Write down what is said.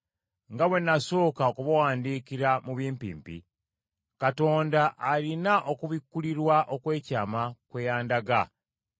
Nga bwe nasooka okubawandiikira mu bimpimpi, Katonda alina okubikkulirwa okw’ekyama kwe yandaga.